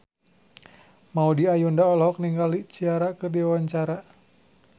Maudy Ayunda olohok ningali Ciara keur diwawancara